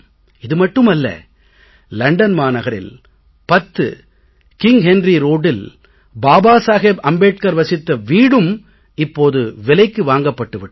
இது மட்டுமல்ல லண்டன் மாநகரில் 10 கிங் ஹென்ரி ரோட்டில் பாபா சாஹேப் அம்பேட்கர் வசித்த வீடும் இப்போது விலைக்கு வாங்கப் பட்டு விட்டது